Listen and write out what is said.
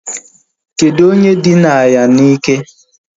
Kedụ onye dina ya na ike?